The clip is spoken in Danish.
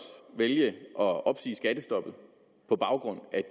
vælge at opsige skattestoppet på baggrund af